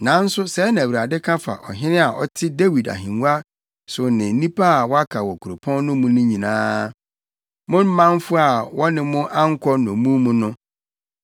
nanso, sɛɛ na Awurade ka fa ɔhene a ɔte Dawid ahengua so ne nnipa a wɔaka wɔ kuropɔn no mu nyinaa, mo manfo a wɔne mo ankɔ nnommum mu no.